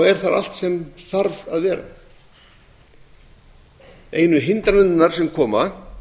er þar allt sem þarf að vera einu hindranirnar sem koma